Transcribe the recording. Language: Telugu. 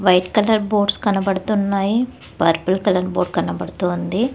వైట్ కలర్ బోర్డ్ కనబడుతున్నాయి పర్పుల్ కలర్ బోర్డ్ కనబడుతోంది.